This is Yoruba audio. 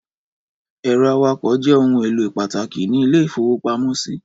Ẹ̀rọ akawó jẹ́ ohun-èlò pàtàkì ní ilé-ìfowópamọ́sí.